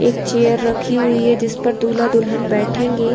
एक चेयर रखी हुई है जिस पर दूल्हा-दुल्हन बैठेंगे।